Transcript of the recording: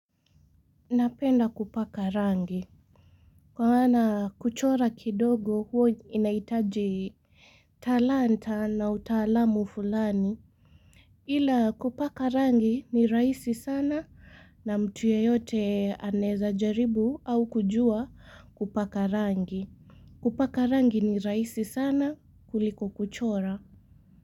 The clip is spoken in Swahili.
Napenda kupaka rangi Kwa maana kuchora kidogo huo inahitaji talanta na utaalamu fulani Ila kupaka rangi ni rahisi sana na mtu yeyote anaeza jaribu au kujua kupaka rangi Kupaka rangi ni raisi sana kuliko kuchora.